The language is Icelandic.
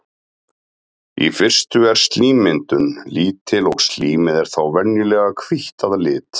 í fyrstu er slímmyndun lítil og slímið er þá venjulega hvítt að lit